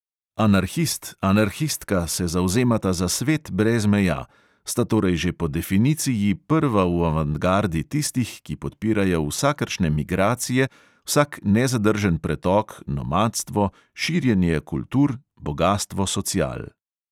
Anarhist, anarhistka se zavzemata za svet brez meja, sta torej že po definiciji prva v avantgardi tistih, ki podpirajo vsakršne migracije, vsak nezadržen pretok, nomadstvo, širjenje kultur, bogastvo social.